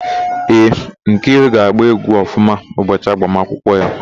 Ee, Nkiru ga-agba égwú ọfụma ụbọchị agbamakwụkwọ ya.